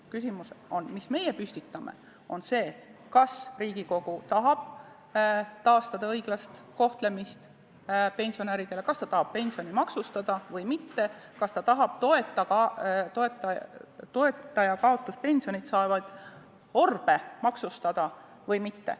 Küsimus, mille meie püstitame, on see, kas Riigikogu tahab taastada pensionäride õiglast kohtlemist, kas ta tahab pensione maksustada või mitte, kas ta tahab toitjakaotuspensionit saavaid orbe maksustada või mitte.